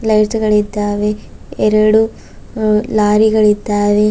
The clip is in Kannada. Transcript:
ಲೈಟು ಗಳಿದ್ದಾವೆ ಎರಡು ಲಾರಿ ಗಳಿದ್ದಾವೆ.